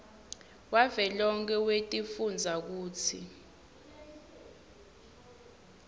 wavelonkhe wetifundza kutsi